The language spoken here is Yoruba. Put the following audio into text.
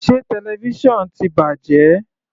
Sé television ti bàjẹ́?